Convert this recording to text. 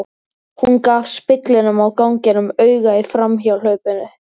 Hún gaf speglinum á ganginum auga í framhjáhlaupi.